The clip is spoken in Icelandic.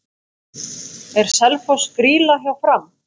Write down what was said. Er Selfoss grýla hjá Fram?